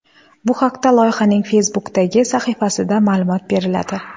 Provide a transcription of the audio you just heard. Bu haqda loyihaning Facebook’dagi sahifasida ma’lumot beriladi .